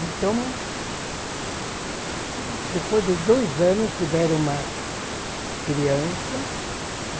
Então, depois de dois anos, tiveram uma criança.